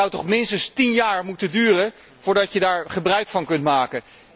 Het zou toch minstens tien jaar moeten duren voordat je daar gebruik van kunt maken.